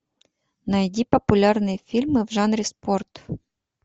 найди популярные фильмы в жанре спорт